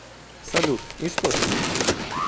салют и что с ним